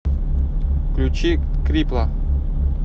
включи крипла